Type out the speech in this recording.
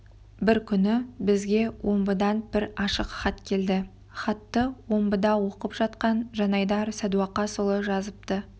бір күні бізге омбыдан бір ашық хат келді хатты омбыда оқып жатқан жанайдар садуақасұлы жазыпты